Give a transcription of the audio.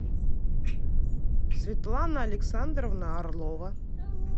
светлана александровна орлова